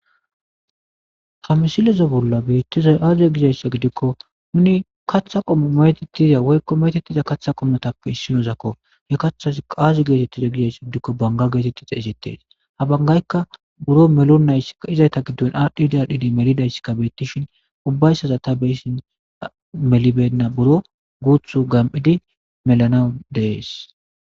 ha misilleza bolla beittizay aze gizayssa gidikko nuni kaththa qommo metettiza woykko metettiza katha qommotappe issinozakko he kaththazikka azi geetettiza gizaysa gidikko banga geetetti xeysettees ha banggayikka buro melonayssikka izayta giddon adhdhidi adhdhidi melidayssikka beettishin ubbayssaza ta be'ishshin meli beyna buro guuththu gam'idi melanaw dees